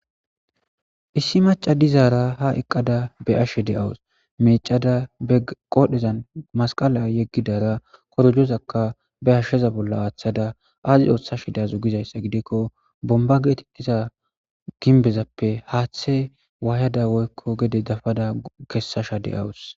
Issi macca daara ha eqqada be7ashe de7asu meeccada qoodhezan masqala yegidara korojozaka ba hasha bolla aathada aazi oothashe daza gizaysa gidiko bombba geetetiza gimbezape haatha kesashe dawus.